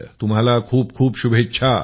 तुम्हाला खूप खूप शुभेच्छा